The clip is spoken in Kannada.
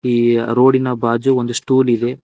ಈ ರೋಡಿನ ಬಾಜು ಒಂದು ಸ್ಟೂಲ್ ಇದೆ.